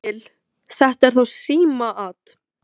Ég skil. þetta er þá símaat!